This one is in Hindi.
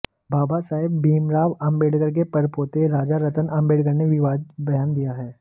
बाबा साहेब भीम राव आंबेडकर के परपोते राजारत्न आंबेडकर ने विवादित बयान दिया है